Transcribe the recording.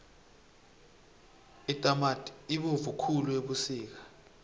itamati ibovu khulu ebusika